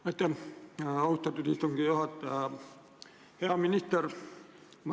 Aitäh, austatud istungi juhataja!